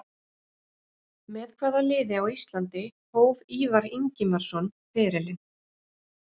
Með hvaða liði á Íslandi hóf Ívar Ingimarsson ferilinn?